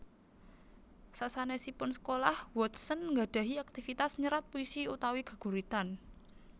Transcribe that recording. Sasanèsipun sekolah Watson nggadhahi aktivitas nyerat puisi utawi geguritan